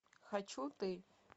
хочу ты